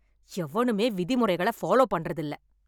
எவனுமே விதிமுறைகள ஃபாலோ பண்றது இல்ல.